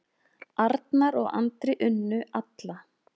Arnar og Andri unnu alla